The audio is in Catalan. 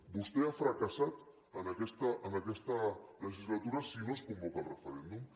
vostè ha fracassat en aquesta legislatura si no es convoca el referèndum